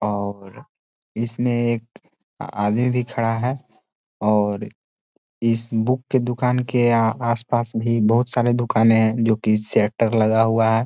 और इसमें एक आदमी भी खड़ा है और इस बुक की दुकान के आसपास भी बहुत सारे दुकान है जो की सेटर लगा हुआ है।